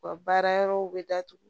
U ka baara yɔrɔw bɛ datugu